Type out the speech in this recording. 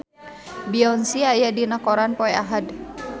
Beyonce aya dina koran poe Ahad